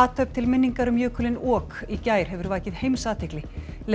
athöfn til minningar um jökulinn ok í gær hefur vakið heimsathygli